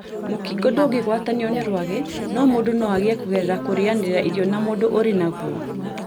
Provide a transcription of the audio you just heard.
Mũkingo ndũngĩgwatanio nĩ rwagĩ no mũndũ noagĩe kũgerera kũrĩanira irio na mũndũ ũrĩ naguo